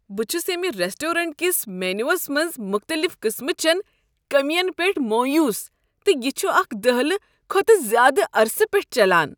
بہٕ چھس ییٚمہ ریسٹورینٹ کِس مینو یس منٛز مختٔلف قٕسمٕچٮ۪ن کٔمِین پیٹھ مویوٗس تہٕ یہ چھ اکہ دٔہلہٕ کھۄتہٕ زیادٕ عرصہٕ پٮ۪ٹھہٕ چلان۔